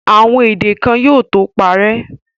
Àwọn èdè kan yóò tó parẹ́.